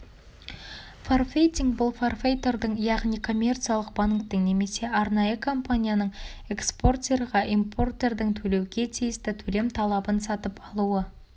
форфейтинг бұл форфейтордың яғни коммерциялық банктің немесе арнайы компанияның экспортерға импортердің төлеуге тисті төлем талабын сатып алуы